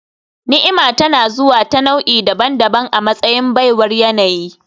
Ni'ima tana zuwa ta nau'i-nau'i daban-daban a matsayin baiwar yanayi